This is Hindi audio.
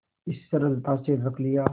इस सरलता से रख लिया